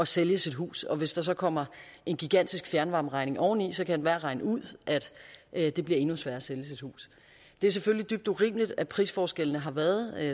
sælge sit hus og hvis der så kommer en gigantisk fjernvarmeregning oveni kan enhver regne ud at det bliver endnu sværere at sælge sit hus det er selvfølgelig dybt urimeligt at prisforskellene har været